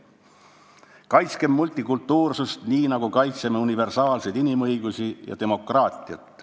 Kaitskem multikultuursust, nii nagu kaitseme universaalseid inimõigusi ja demokraatiat.